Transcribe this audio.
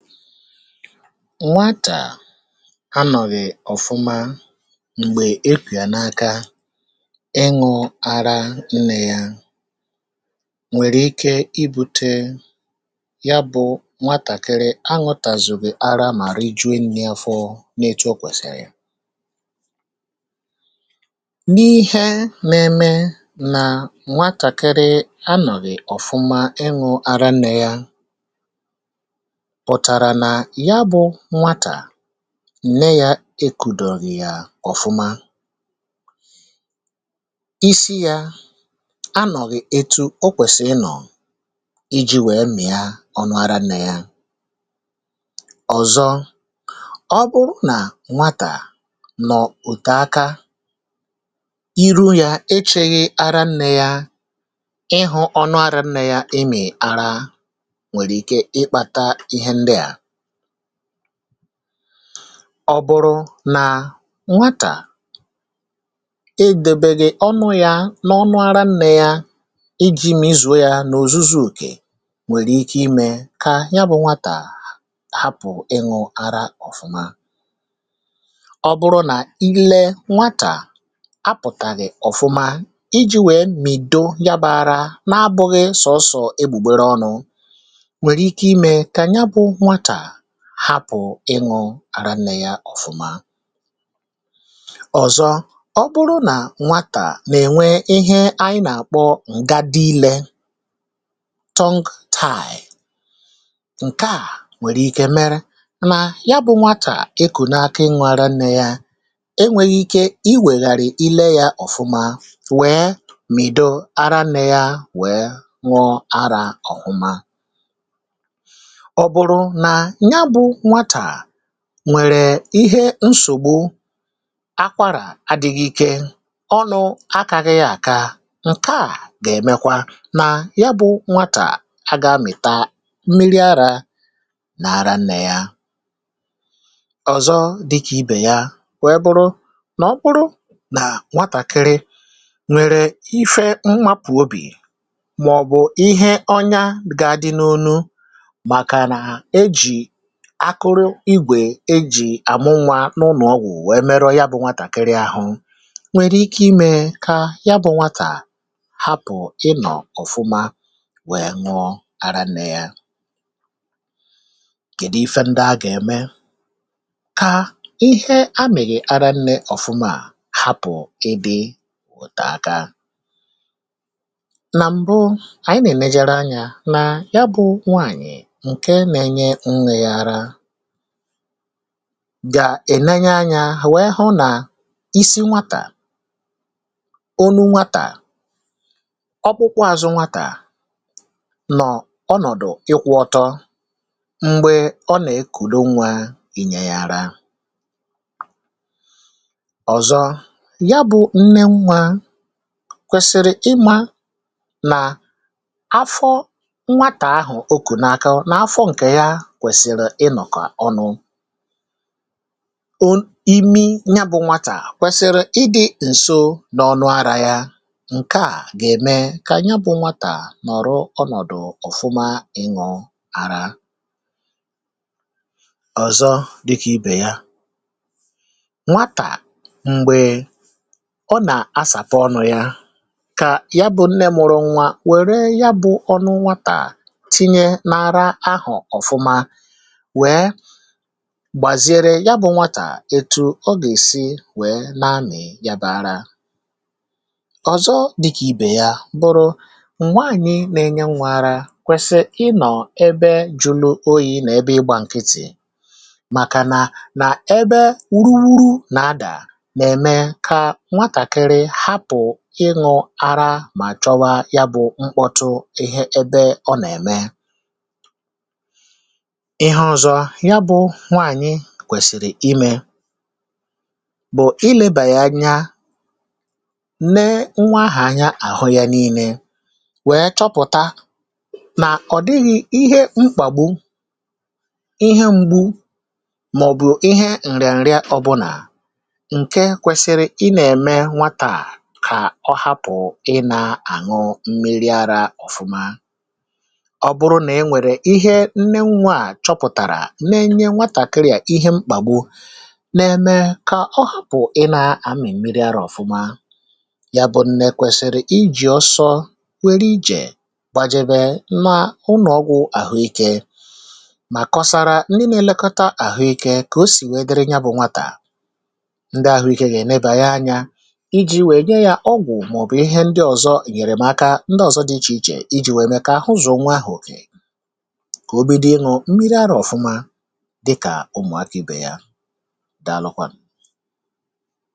nwa tà a nọ̀gì ọ̀fụma m̀gbè ekwì yà n’aka ịṅụ̇ ara ǹnọ̀ ya nwèrè ike ibu̇tė ya bụ̇ nwatàkịrị aṅụtàzùbì ara màrị jụ̀ nni afọ na-ètu o kwèsìrì ya n’ihe m̀meṁmè nà nwa kàkịrị aṅụ̀gì ọ̀fụma ịṅụ̇ ara ǹnọ̀ ya nne yȧ ekùdọ̇ghị̀ yà ọ̀fụma isi yȧ anọ̀ghị̀ etu o kwèsì ịnọ̀ iji̇ wèe mì yȧ ọnụ ara nnȧ yȧ ọ̀zọ ọ bụrụ nà nwatà nọ̀ òtù aka iru yȧ ichèghị ara nnė yȧ ịhụ̇ ọnụ arȧ nnė yȧ ịmị̀ ara ọ̀bụrụ nà nwatà edèbè gị ọnụ yȧ n’ọnụ arȧ nne yȧ iji̇ m izùo yȧ n’òzuzuùkè nwèrè ike imė kà ya bụ̇ nwatà hapụ̀ ịṅụ̇ ara ọ̀fụma ọbụrụ nà ile nwatà apụ̀tàghì ọ̀fụma iji̇ wèe mìdo gabà ara na-abụ̇ghị sọsọ̀ egbùgbere ọnụ̇ àra nnė ya ọ̀fụma ọ̀zọ ọ bụrụ nà nwatà nà-ènwe ihe anyị nà-àkpọ ǹga dị ilė tọ́ng táị́ ǹke à nwèrè ike mere nà ya bụ nwatà ịkụ̀ n’aka inwe ara nnė ya enwèghì ike i wèghàrị̀ ile yȧ ọ̀fụma wèe mìdo ara nnė ya wèe nwọ ara ọ̀hụma nwèrè ihe nsògbu akwarà adị̇ghị̇ ike ọnụ̇ akȧghị̇ àka ǹke à gà-èmekwa nà ya bụ̇ nwatà agà mị̀ta mmiri arȧ nà ara nnè ya ọ̀zọ dịkà ibè ya wèe bụrụ nà ọ bụrụ nà nwatàkịrị nwèrè ife mmapụ̀ obì màọ̀bụ̀ ihe ọnya gà-adị n’olu akụrụ igwè e jì àmụ nwa n’ụnọ̀ ọgwụ̀ wèe merọ ya bụ̇ nwatà kiri ahụ nwèrè ike imė kà ya bụ̇ nwatà hapụ̀ ịnọ̀ ọ̀fụma wèe nwụọ ara nne yȧ kédì ife ndị à gà-ème kà ihe a mị̀rị̀ ara nne ọ̀fụma hapụ̀ ebe òteaka nà m̀bụ ànyị nà-èmegere anyȧ nà ya bụ̇ nwaànyị̀ gà-ènenye anyȧ hà wèe hụ nà isi nwatà ọnụ nwatà ọkpụkwọ ȧzụ nwatà nọ̀ ọnọ̀dụ̀ ikwu ọtọ m̀gbè ọ nà-ekùdo nwà enyė yà ra ọ̀zọ ya bụ̇ nne nwà kwèsìrì ịmȧ nà afọ nwatà ahụ̀ okù n’akaụ̀ nà afọ ǹkè ya ọnụ ya bụ nne mụrụ nwa wère ya bụ ọnụ nwatà tinye n’ara ahọ̀ ọ̀fụma gbàziere ya bụ̇ nwàtà etu̇ o gà-èsi wèe nà-anị̀ yabè ara ọ̀zọ dịkà ibè ya bụrụ m̀gwaànyị nà-enye nwa ara kwèsì̀ ị nọ̀ ebe jùlù oyi̇ nà ebe ịgbȧ nkịtị̀ màkànà nà ebe wuruuru nà-adà nà-ème kà nwatàkịrị hapụ̀ ịṅụ̇ ara mà chọwa ya bụ̇ mkpọtụ ihe ebe ọ nà-ème kwèsìrì imė bụ̀ ilėbàya nya nè nwaahà anya àhụ ya n’ine wèe chọpụ̀ta nà ọ̀ dịghị̇ ihe mkpà bụ ihe ṁgbu̇ màọ̀bụ̀ ihe ǹrị̀ǹrị ọbụnà ǹke kwèsìrì ị nà-ème nwatà kà ọ hapụ̀ ị nà-àṅụ mmiri ara ọ̀fụma ọ bụrụ nà e nwèrè ihe nne nwaà chọpụ̀tàrà nè nnye nwatàkịrị à ihe mkpà gwụ nèmé kà ọ hàpụ̀ ị nà-àmị̀ mmiri arȧ ọ̀fụma ya bụ nnè kwèsìrì ijì ọsọ wẹ̀rẹ ijè gbajẹ̇bẹ̀ n’ụlọ̀ ọgwụ̀ àhụikė mà kọsara ndị na-elekọta àhụikė kà o sì wèe dịrị nya bụ̇ nwatà ndị àhụikė nà-ẹnẹbẹ anyȧ iji̇ wèe nye yȧ ọgwụ̀ màọ̀bụ̀ ihe ndị ọ̀zọ ènyèrè màkà ndị ọ̀zọ dị ichè ichè iji̇ wèe mę kà àhụzọ̀ nwa ahụ̀ kà obi dịṅụ mmiri arȧ ọ̀fụma dịkà ụmụ̀afị bè ya dàalụkwà